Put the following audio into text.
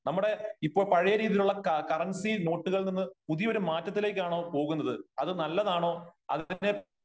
നമ്മുടെ ഇപ്പോ പഴയ രീതിയിലുള്ള കറൻസി നോട്ടുകളിൽ നിന്ന് പുതിയ ഒരു മാറ്റത്തിലേക്കാണോ പോകുന്നത് ? അത് നല്ലതാണോ ? അതിന്റെ